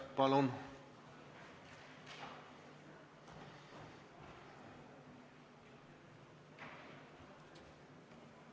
Palun!